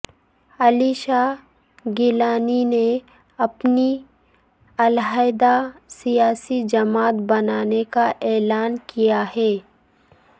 علی شاہ گیلانی نے اپنی علحیدہ سیاسی جماعت بنانے کا اعلان کیا ہے